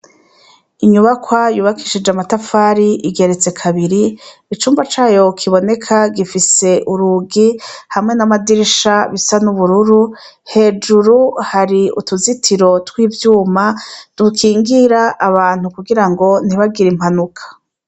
Inyubakwa yubakishije amatafari igeretse kabiri icumba cayo kiboneka gifise urugi hamwe n'amadirisha bisa n'ubururu hejuru hari utuzitiro tw'ivyuma dukingira abantu kugira ngo ntibagira impanuka.